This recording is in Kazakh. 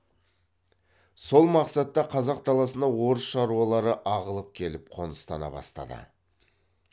сол мақсатта қазақ даласына орыс шаруалары ағылып келіп қоныстана бастады